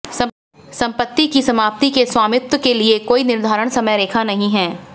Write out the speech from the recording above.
संपत्ति की समाप्ति के स्वामित्व के लिए कोई निर्धारित समयरेखा नहीं है